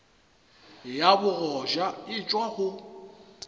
ya bogoja e tšwa go